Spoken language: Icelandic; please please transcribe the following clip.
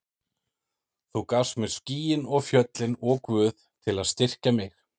Þú gafst mér skýin og fjöllin og Guð til að styrkja mig.